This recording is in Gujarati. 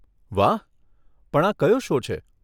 વાહ, પણ આ કયો શો છો?